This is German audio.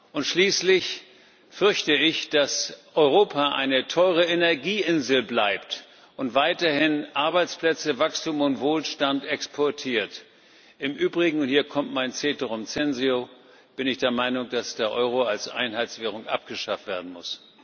Und schließlich fürchte ich, dass Europa eine teure Energieinsel bleibt und weiterhin Arbeitsplätze, Wachstum und Wohlstand exportiert. Im Übrigen und hier kommt mein ceterum censeo bin ich der Meinung, dass der Euro als Einheitswährung abgeschafft werden muss.